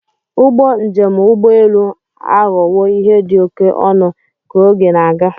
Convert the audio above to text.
Ụgbọ njem ụgbọ elu aghọwo ihe dị oke ọnụ ka oge na-aga.